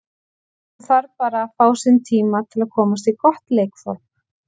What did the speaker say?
Hún þarf bara að fá sinn tíma til að komast í gott leikform.